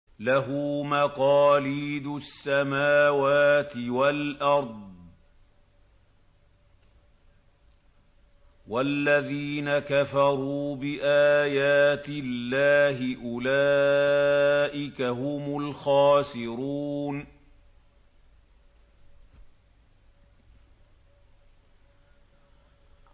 لَّهُ مَقَالِيدُ السَّمَاوَاتِ وَالْأَرْضِ ۗ وَالَّذِينَ كَفَرُوا بِآيَاتِ اللَّهِ أُولَٰئِكَ هُمُ الْخَاسِرُونَ